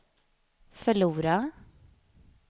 förlora